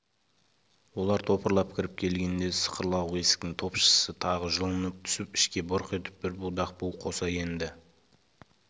олар топырлап кіріп келгенде сықырлауық есіктің топшысы тағы жұлынып түсіп ішке бұрқ етіп бір будақ бу қоса енді